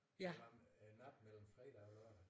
Det en nat mellem fredag og lørdag